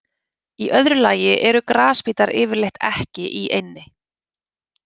Í öðru lagi eru grasbítar yfirleitt ekki í eynni.